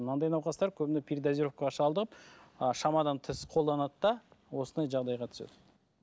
мынадай науқастар көбіне передозировкаға шалдығып ы шамадан тыс қолданады да осындай жағдайға түседі